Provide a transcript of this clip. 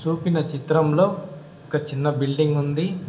పంపిన చిత్రంలో ఒక చిన్న బిల్డింగ్ ఉంది.